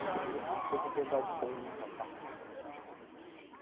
Aquilo, coisa de andar de bonde.